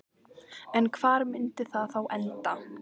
En hvar myndi það þá enda?